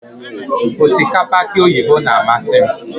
osikapa aki oyibo na-amasị m.